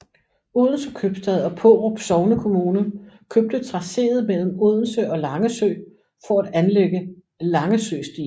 Odense købstad og Pårup sognekommune købte tracéet mellem Odense og Langesø for at anlægge Langesøstien